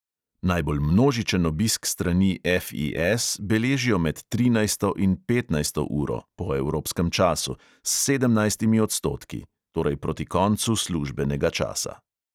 Najbolj množičen obisk strani FIS beležijo med trinajsto in petnajsto uro (po evropskem času) s sedemnajstimi odstotki (torej proti koncu službenega časa).